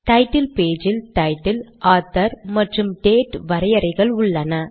title page இல் title author மற்றும் date வரையறைகள் உள்ளன